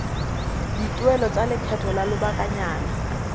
dituelo tsa lekgetho la lobakanyana